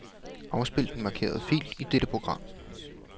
Afspil den markerede fil i dette program.